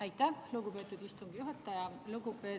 Aitäh, lugupeetud istungi juhataja!